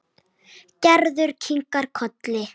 Gerður kinkaði kolli.